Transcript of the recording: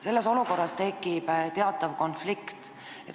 Selles olukorras tekib teatav konflikt.